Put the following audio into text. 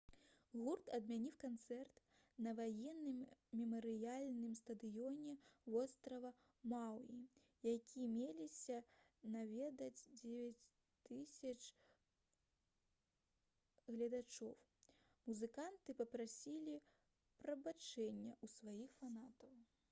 гурт адмяніў канцэрт на ваенным мемарыяльным стадыёне вострава маўі які меліся наведаць 9000 гледачоў музыканты папрасілі прабачэння ў сваіх фанатаў